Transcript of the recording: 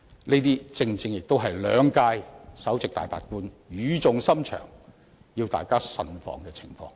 這正正是兩屆首席大法官語重深長地要大家慎防的情況。